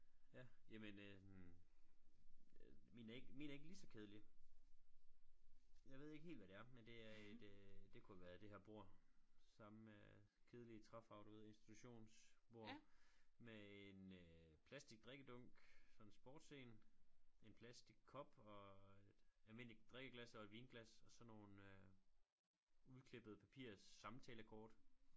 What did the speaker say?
Ja jamen øh min er ikke min er ikke lige så kedelig jeg ved ikke helt hvad det er men det er et øh det kunne være det her bord som øh kedelige træfarver du ved institutionsbord med en øh plastik drikkedunk sådan sports en en plastikkop og et almindeligt drikkeglas og et vinglas og så nogle øh udklippede papirs samtalekort